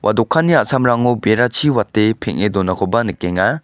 dokanni a·samrango berachi wate peng·e donakoba nikenga.